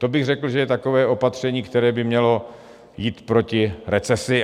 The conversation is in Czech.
To bych řekl, že je takové opatření, které by mělo jít proti recesi.